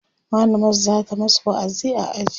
mallamar zata masu wa'azi a aji